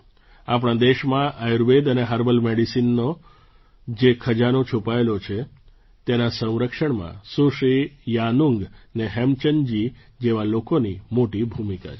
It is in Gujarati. આપણા દેશમાં આયુર્વેદ અને હર્બલ મેડિસનનો જે ખજાનો છુપાયેલો છે તેના સંરક્ષણમાં સુશ્રી યાનુંગ ને હેમચંદજી જેવા લોકોની મોટી ભૂમિકા છે